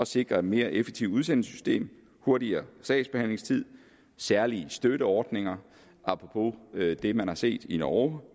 sikre et mere effektivt udsendelsesystem hurtigere sagsbehandlingstid særlige støtteordninger apropos det man har set i norge